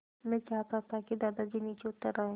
मैं चाहता था कि दादाजी नीचे उतर आएँ